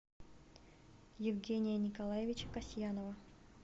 евгения николаевича касьянова